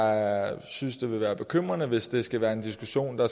jeg synes så det vil være bekymrende hvis det skal være en diskussion hvor